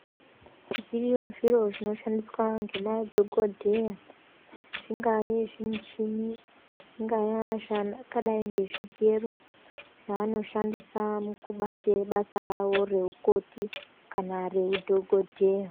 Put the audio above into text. Zviriyo zviro zvinoshandiswa ngemadhokodheya zvingaya zvimuchini zvingaya zvakadai zvigero zvavanoshanisa mkubate basa ravo keukoti kana reudhokodheya.